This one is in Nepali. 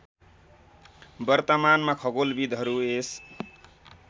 वर्तमानमा खगोलविद्हरू यस